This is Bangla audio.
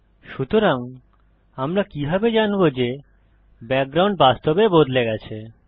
সুতরাং আমরা কিভাবে জানব যে ব্যাকগ্রাউন্ড বাস্তবে বদলে গেছে